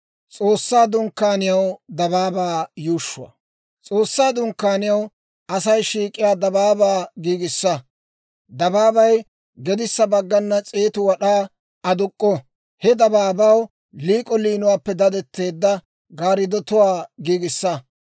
«S'oossaa Dunkkaaniyaw Asay shiik'iyaa dabaabaa giigissa. Dabaabay gedissa baggana s'eetu wad'aa aduk'k'o; he dabaabaw liik'o liinuwaappe dadetteedda gaarddotuwaa giigissa.